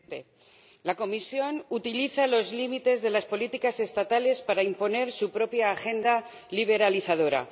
Señor Presidente, la Comisión utiliza los límites de las políticas estatales para imponer su propia agenda liberalizadora.